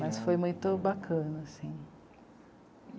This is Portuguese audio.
Mas foi muito bacana assim.